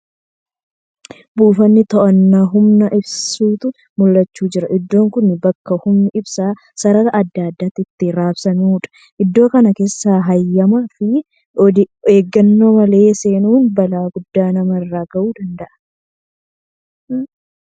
Buufata too'annaa humna ibsaatu mul'achaa jira. Iddoon kun bakka humni ibsaa sarara adda addaatti itti raabsamuudha. Iddoo kana keessaa heyyamaa fi of eeggannoo malee seeenuun balaa guddaa nama irraan ga'uu danda'a.